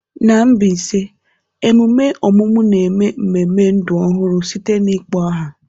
N'Mbaise ememe ọmụmụ na-eme mmemme ndụ ọhụrụ site na ịkpọ aha.